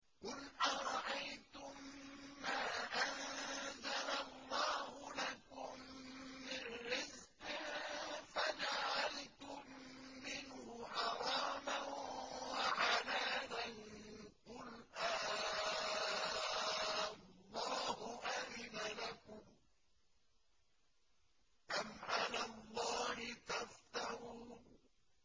قُلْ أَرَأَيْتُم مَّا أَنزَلَ اللَّهُ لَكُم مِّن رِّزْقٍ فَجَعَلْتُم مِّنْهُ حَرَامًا وَحَلَالًا قُلْ آللَّهُ أَذِنَ لَكُمْ ۖ أَمْ عَلَى اللَّهِ تَفْتَرُونَ